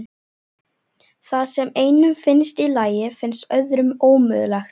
Það sem einum finnst í lagi finnst öðrum ómögulegt.